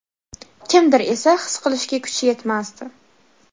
kimdir esa his qilishga kuchi yetmasdi.